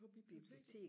på biblioteket